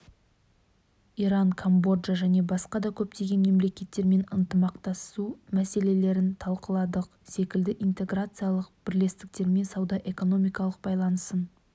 иран камбоджа және басқа да көптеген мемлекеттермен ынтымақтасу мәселелерін талқыладық секілді интеграциялық бірлестіктермен сауда-экономикалық байланысын